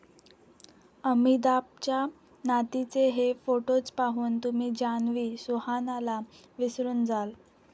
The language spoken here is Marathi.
अमिताभच्या नातीचे हे फोटोज पाहून तुम्ही जान्हवी, सुहानाला विसरून जाल